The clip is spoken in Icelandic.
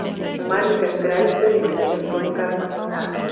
Hún var líka skrælþurr í munninum svo hún gat varla talað.